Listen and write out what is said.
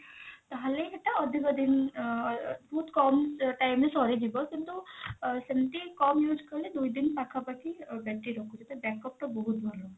ତାହେଲେ ସେଟା ଅଧିକ ଦିନ ଅ ବହୁତ କମ time ରେ ସରିଯିବ କିନ୍ତୁ ସେମତି କମ use କଲେ ଦୁଇ ଦିନ ପାଖା ପାଖି battery ରହୁଛି ତ backup ଟା ବହୁତ ଭଲ